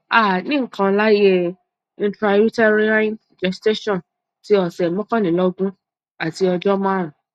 a nikan laaye intrauterine gestation ti ọsẹ mọkànlélógún ati ọjọ marun